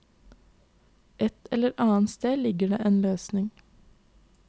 Et eller annet sted ligger det en løsning.